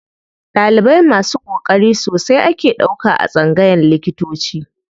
Ɗalibai masu ƙoƙari sosai ake ɗauka a tsangayan likitanci.